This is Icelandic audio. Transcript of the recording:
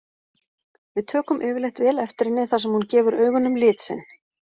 Við tökum yfirleitt vel eftir henni þar sem hún gefur augunum lit sinn.